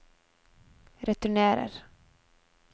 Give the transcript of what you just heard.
returnerer